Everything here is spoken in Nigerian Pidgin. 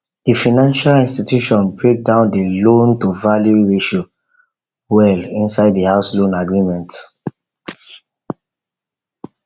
the financial institution break down the loan to value ratio well inside the house loan agreement